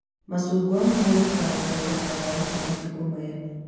Macungwa mahũthĩkaga gũthondeka ndawa cia matukũ maya